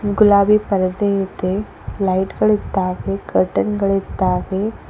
ಗುಲಾಬಿ ಪರದೆ ಇದೆ ಲೈಟ್ ಗಳಿದ್ದಾವೆ ಕರ್ಟನ್ ಗಳಿದ್ದಾವೆ.